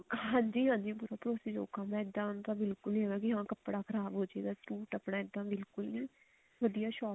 ਹਾਂਜੀ ਹਾਂਜੀ ਪੂਰਾ ਭਰੋਸੇ ਯੋਗ ਕੰਮ ਹੈ ਇੱਦਾਂ ਤਾਂ ਬਿਲਕੁਲ ਵੀ ਹਾਂ ਉਹਨਾ ਦਾ ਕੱਪੜਾ ਖਰਾਬ ਹੋਜੇਗਾ ਇਹ ਤਾਂ ਬਿਲਕੁਲ ਨੀ ਵਧੀਆ ਸ਼ੋਪ